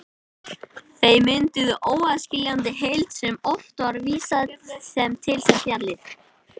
Þau mynduðu óaðskiljanlega heild sem oft er vísað til sem fjallið.